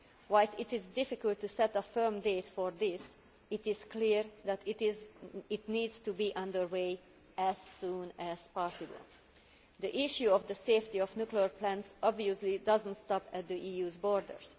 Whilst it is difficult to set a firm date for this, it is clear that it needs to get under way as soon as possible. The issue of the safety of nuclear plants obviously does not stop at the EU's borders.